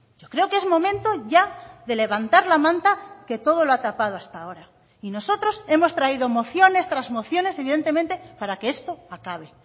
yo creo que es momento ya de levantar la manta que todo lo ha tapado hasta ahora y nosotros hemos traído mociones tras mociones evidentemente para que esto acabe